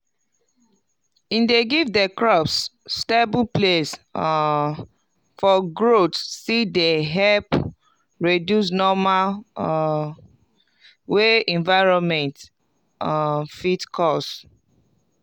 e dey give di crops stable place um for growth still dey help reduce normal um wey environment um fit cause